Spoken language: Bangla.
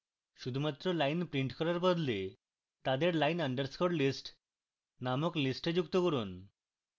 শুধুমাত্র lines printing করার বদলে তাদের line _ list নামক list যুক্ত করুন